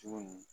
Cogo min